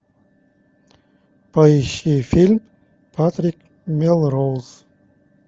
поищи фильм патрик мелроуз